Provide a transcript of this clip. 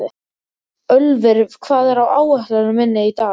Ölvir, hvað er á áætluninni minni í dag?